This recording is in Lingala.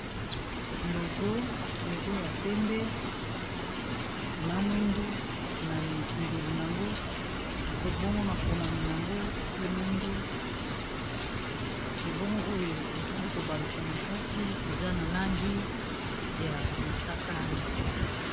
Logo ya pembe, na mwindu na mindelu nango bongo makomami nango pe mwindu ebongo oyo esili kobaluka na kati eza na langi ya mosaka ya pete.